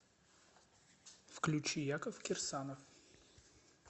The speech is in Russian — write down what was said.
включи яков кирсанов